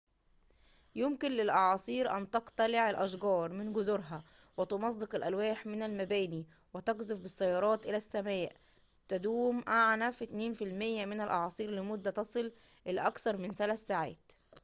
يمكن للأعاصير أن تقتلع الأشجار من جذورها وتمزق الألواح من المباني وتقذف بالسيارات إلى السماء تدوم أعنف 2% من الأعاصير لمدة تصل إلى أكثر من ثلاث ساعات